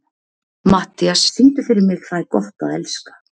Matthías, syngdu fyrir mig „Tað er gott at elska“.